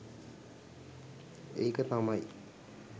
ඒක තමයි